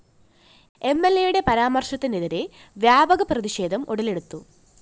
M L A യുടെ പരാമര്‍ശത്തിനെതിരെ വ്യാപക പ്രതിഷേധം ഉടലെടുത്തു